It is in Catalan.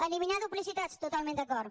eliminar duplicitats totalment d’acord